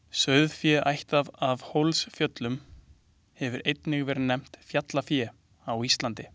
Sauðfé ættað af Hólsfjöllum hefur einnig verið nefnt fjallafé á Íslandi.